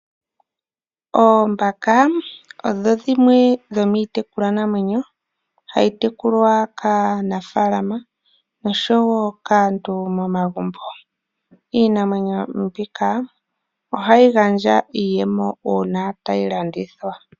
Oombaka odho dhimwe dhomiitekulwanamwenyo hayi tekulwa kaanafaalama noshowo kaantu momagumbo. Iinamwenyo mbika ohayi gandja iiyemo uuna tayi landithwa.